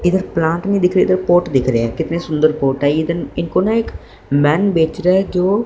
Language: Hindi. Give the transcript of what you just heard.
इधर प्लांट नहीं दिख रहे इधर कोट दिख रहे हैं कितने सुंदर कोट है इधर इनको ना एक मैन बेच रहा है जो--